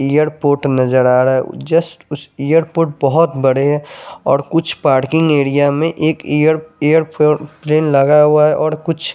airport नज़र आ रहा है जस्ट उस एयरपोट बहुत बड़े है और कुछ पार्किंग एरिया में एक एयर फ़ो एयरप्लेन लगा हुआ है और कुछ --